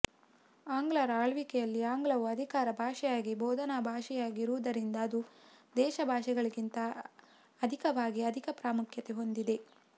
ಆಂಗ್ಲರ ಆಳ್ವಿಕೆಯಲ್ಲಿ ಆಂಗ್ಲವು ಅಧಿಕಾರ ಭಾಷೆಯಾಗಿ ಬೋಧನಾ ಭಾಷೆಯಾಗಿ ಇರುವುದರಿಂದ ಅದು ದೇಶ ಭಾಷೆಗಳಿಗಿಂತ ಅಧಿಕವಾಗಿ ಅಧಿಕ ಪಾಮುಖ್ಯತೆ ಹೊಂದಿದೆ